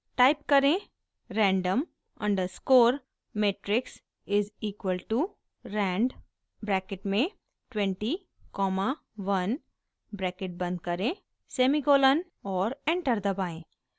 type करें: random underscore matrix is equal to rand bracket में 20 comma 1 bracket बंद करें सेमीकोलन और एंटर दबाएं